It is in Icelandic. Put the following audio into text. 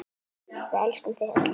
Við elskum þau öll.